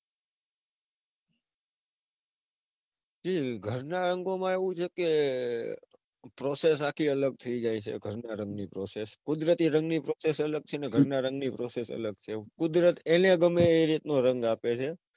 ઘર ના રંગો માં એવું છે કે process આખી અલગ થઇ જાય છે. ઘરના રંગ ની process કુદરતી રંગ ની process અલગ છે ને ઘરના રંગ ની process અલગ છે. કુદરત એને ગમે એ રીત નો રંગ આપે છે.